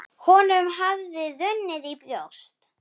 Honum hafði runnið í brjóst.